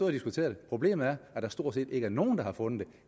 og diskuteret det problemet er at der stort set ikke er nogen der har fundet